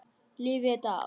Lifi ég þetta af?